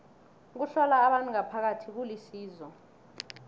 ukuhlola abantu ngaphakathi kulisizo